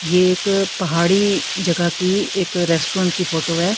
ये एक पहाड़ी जगह की एक रेस्टोरेंट की फोटो है।